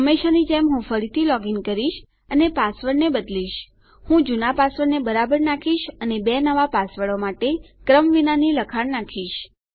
હંમેશાની જેમ હું ફરીથી લોગીન કરીશ અને પાસવર્ડને બદલીશ હું જુના પાસવર્ડને બરાબર નાખીશ અને બે નવા પાસવર્ડો માટે ક્રમ વિનાની લખાણ નાખીશ